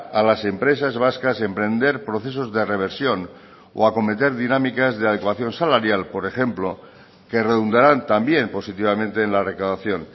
a las empresas vascas emprender procesos de reversión o acometer dinámicas de adecuación salarial por ejemplo que redundaran también positivamente en la recaudación